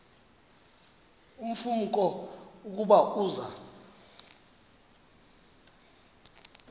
ulumko ukuba uza